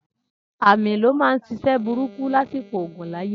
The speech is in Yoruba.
Amí ló máa ń ṣiṣẹ́ burúkú lásìkò ogun láyé.